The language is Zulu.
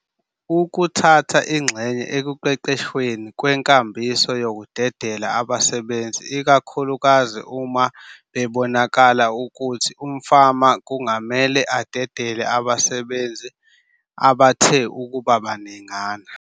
Ukuthatha ingxenye ekuqeqeshweni kwenkambiso yokudedela abasebenzi ikakhulukazi uma kubonakala ukuthi umfama kungamele adedele abasebenzi abathe ukuba baningana.